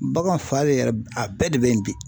Bagan fa le yɛrɛ a bɛɛ de bɛ yen bi